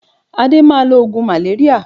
Adé máa lo oògùn maléríà